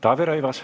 Taavi Rõivas.